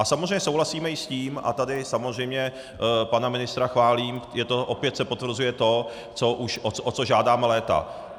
A samozřejmě souhlasíme i s tím, a tady samozřejmě pana ministra chválím, opět se potvrzuje to, o co žádáme léta.